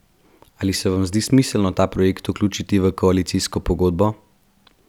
Ali se vam zdi smiselno ta projekt vključiti v koalicijsko pogodbo?